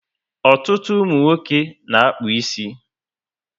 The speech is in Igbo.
Ọtụtụ umunwoke na-akpu ísì